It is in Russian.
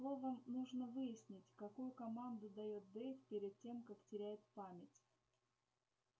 словом нужно выяснить какую команду даёт дейв перед тем как теряет память